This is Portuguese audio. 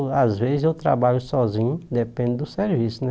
É, na verdade, às vezes eu trabalho sozinho, depende do serviço, né?